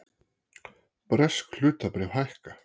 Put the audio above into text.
Bresk hlutabréf hækka